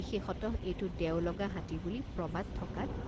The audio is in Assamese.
বিশেষতঃ এইটো দেওলগা হাতী বুলি প্ৰবাদ থকাত।